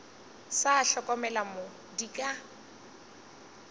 sa hlokomele mo di ka